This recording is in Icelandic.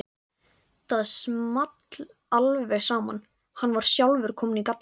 Það small alveg saman, hann var sjálfur kominn í gallann.